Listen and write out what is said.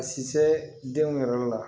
A si se denw yɛrɛ la